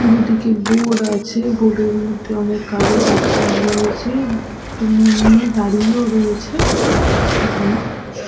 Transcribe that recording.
দুদিকে বোর্ড আছে বোর্ড -এর মধ্যে অনেক কাগজ আটকানো রয়েছে দূরে দাঁড়িয়েও রয়েছে সেখানে--